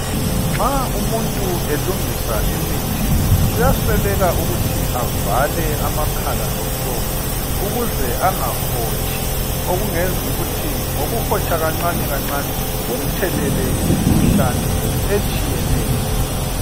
Nxa umuntu elungisa imithi kuyaswelaka ukuthi abavale amakhala omlomo ukuze angahotshi okungenza ukuthi ngokuhotsha kancane kancane kumthelele imikhuhlane etshiyeneyo.